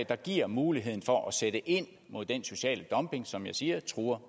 der giver muligheden for at sætte ind mod den sociale dumping som jeg siger truer